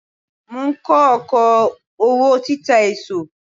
Mò ń kọ́ oko òwò títa èso.